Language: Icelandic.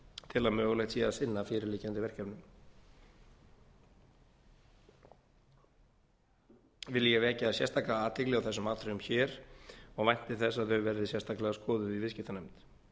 til að mögulegt sé að sinna fyrirliggjandi verkefnum vil ég vekja sérstaka athygli á þessum atriðum hér og vænti þess að þau verði sérstaklega skoðuð í viðskiptanefnd